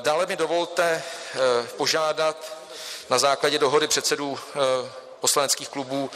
Dále mi dovolte požádat na základě dohody předsedů poslaneckých klubů